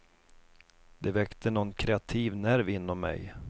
Det väckte nån kreativ nerv inom mig.